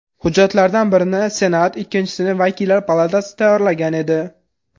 Hujjatlardan birini Senat, ikkinchisini vakillar palatasi tayyorlagan edi.